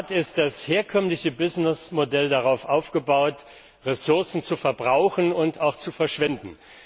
In der Tat ist das herkömmliche Geschäftsmodell darauf aufgebaut, Ressourcen zu verbrauchen und auch zu verschwenden.